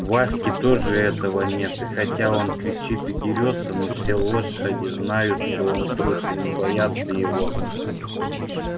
в ваське тоже этого нет и хотя он кричит и дерётся но все лошади знают что он трус и не боятся его